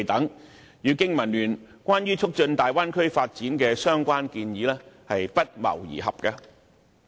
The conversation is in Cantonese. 這些措施與經民聯就促進大灣區發展所提出的相關建議不謀而合。